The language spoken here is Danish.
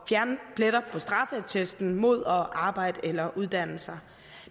fjerne pletter på straffeattesten mod at arbejde eller at uddanne sig